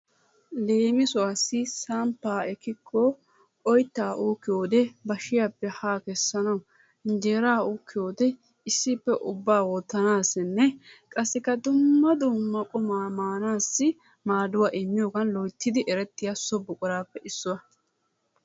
Leemisuwaasi samppaa ekikko oyttaa ukkiyoode bashiyaappe haa keessanawu injeraa uukiyoode issippe ubba wottassinne qassikka dumma dumma qumaa maanassi maaduwaa immiyoogan loyttidi erettiyaa so buquraappe issuwaa.